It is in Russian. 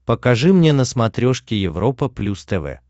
покажи мне на смотрешке европа плюс тв